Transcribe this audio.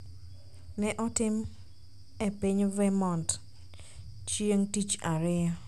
ne otim e piny Vermont cheing' Tich Ariyo,